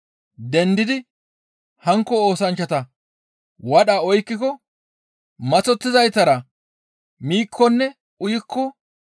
dendi hankko oosanchchata wadha oykkiko maththottizaytara miikkonne uyikko,